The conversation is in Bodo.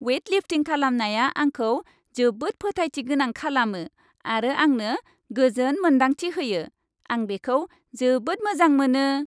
वेइट लिफ्टिं खालामनाया आंखौ जोबोद फोथायथि गोनां खालामो आरो आंनो गोजोन मोन्दांथि होयो। आं बेखौ जोबोद मोजां मोनो।